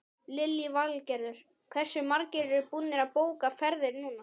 Lillý Valgerður: Hversu margir eru búnir að bóka ferðir núna?